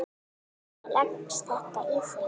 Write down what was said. Hvernig leggst þetta í þig?